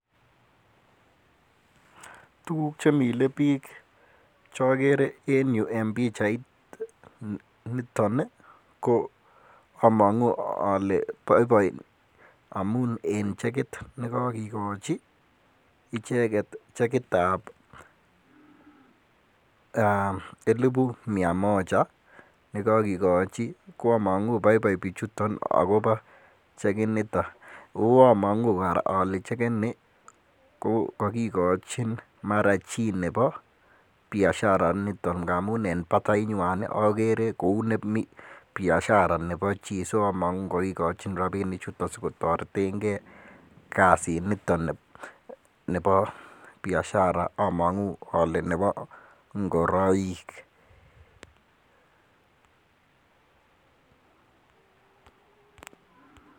Tuguk chemile biik chokere en pichait niton, ko omongu ole boiboi amunen chekit, nekogikochi icheket chekit ab elifu mia moja nekokigochi. Omong'u boiboi akobo chekitinito, ago among'u kora ole chekit nii ko kogikochin mara chi nebo biashara niton amun en batenywan ii ogere kou nemi biashara nebo chito so omongu kogikochin rapinichuton kotoreteng'e kasit niton nebo biashara omong'u ole nebo ng'oroik.